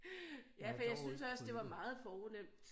Ja for jeg synes også det var meget fornemt